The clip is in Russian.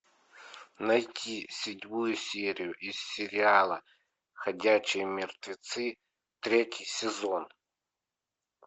найди седьмую серию из сериала ходячие мертвецы третий сезон